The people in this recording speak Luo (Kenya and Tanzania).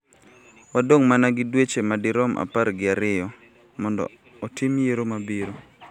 Wadong� mana gi dweche madirom apar gi ariyo mondo otim yiero mabiro.